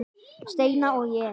Steina og ég.